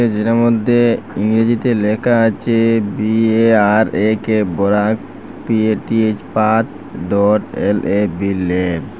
যেটার মদ্যে ইংরেজিতে লেকা আছে B A R A K Barak P A T H path dot L A B lab.